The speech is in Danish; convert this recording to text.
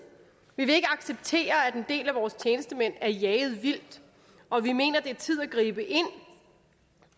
vi vil ikke acceptere at en del af vores tjenestemænd er jaget vildt og vi mener at det er tid at gribe ind